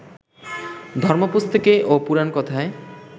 ধর্মপুস্তকে ও পুরাণকথায়